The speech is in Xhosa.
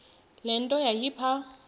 le nto yayipha